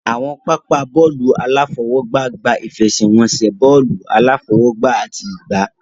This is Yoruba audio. Àwọn pápá bọ́ọ̀lù aláfọwọ́gbá gba ìfẹsẹ̀wọnsẹ̀ bọ́ọ̀lù aláfọwọ́gbá àti ìgbá